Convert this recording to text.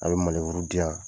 An ka ti yan.